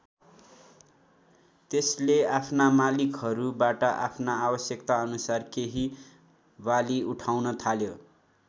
त्यसले आफ्ना मालिकहरूबाट आफ्ना आवश्यकता अनुसार केही बाली उठाउन थाल्यो।